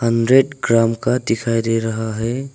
Hundred gram का दिखाई दे रहा है।